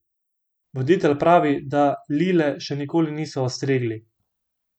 Voditelj pravi, da Lile še nikoli niso ostrigli.